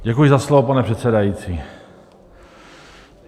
Děkuji za slovo, pane předsedající.